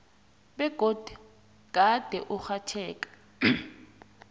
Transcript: begodu gade urhatjheka